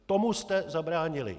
Tomu jste zabránili.